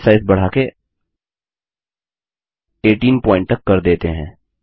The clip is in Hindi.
चलिए बसे साइज बढ़ाके 18 पॉइंट तक कर देते हैं